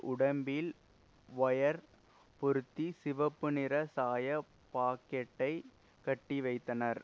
உடம்பில் வயர் பொருத்தி சிவப்புநிற சாய பாக்கெட்டை கட்டி வைத்தனர்